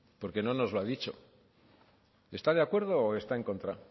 porque no nos lo ha dicho está de acuerdo o está en contra